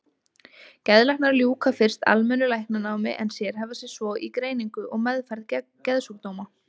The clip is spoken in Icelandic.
Geðlæknar ljúka fyrst almennu læknanámi en sérhæfa sig svo í greiningu og meðferð geðsjúkdóma.